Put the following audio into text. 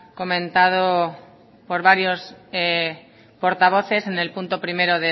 comentado por varios portavoces en el punto primero